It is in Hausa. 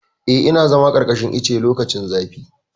Eh, ina zama a ƙarƙashin ice lokacin zafi.